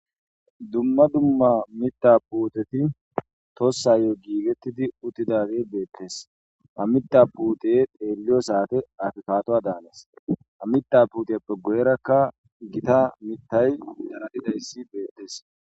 dumma dumma mita puuteti tossayo giigettidi uttidage beettes amita puute teelliyo saate afikatoa daanes amita puteppe goyrakka gita mitay daralidayssi beettes